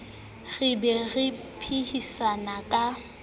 re be re phehisane ka